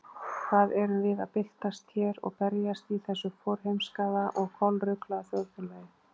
Hvað erum við að byltast hér og berjast í þessu forheimskaða og kolruglaða þjóðfélagi?